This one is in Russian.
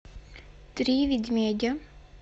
три медведя